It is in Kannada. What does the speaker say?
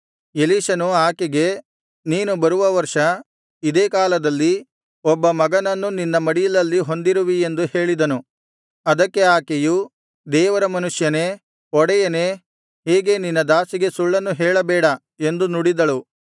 ಎಲೀಷನು ಆಕೆಗೆ ನೀನು ಬರುವ ವರ್ಷ ಇದೇ ಕಾಲದಲ್ಲಿ ಒಬ್ಬ ಮಗನನ್ನು ನಿನ್ನ ಮಡಿಲಲ್ಲಿ ಹೊಂದಿರುವಿ ಎಂದು ಹೇಳಿದನು ಅದಕ್ಕೆ ಆಕೆಯು ದೇವರ ಮನುಷ್ಯನೇ ಒಡೆಯನೇ ಹೀಗೆ ನಿನ್ನ ದಾಸಿಗೆ ಸುಳ್ಳನ್ನು ಹೇಳಬೇಡ ಎಂದು ನುಡಿದಳು